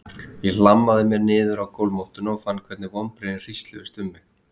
Ég hlammaði mér niður á gólfmottuna og fann hvernig vonbrigðin hrísluðust um mig.